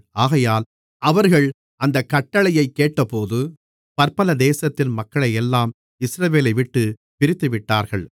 ஆகையால் அவர்கள் அந்தக் கட்டளையைக் கேட்டபோது பற்பல தேசத்தின் மக்களையெல்லாம் இஸ்ரவேலைவிட்டுப் பிரித்துவிட்டார்கள்